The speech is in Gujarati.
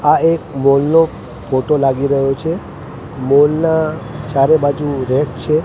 આ એક મોલ નો ફોટો લાગી રહ્યો છે મોલ ના ચારે બાજુ રેક છે.